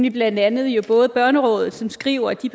er blandt andet børnerådet som skriver at de